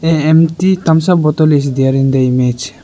a empty thums up bottle is there in the image.